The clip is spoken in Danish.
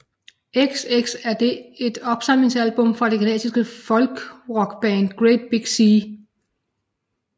XX er det et opsamlingsalbum fra det canadiske folkrockband Great Big Sea